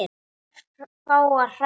Nei, örfáar hræður.